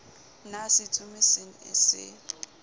na setsomi se ne se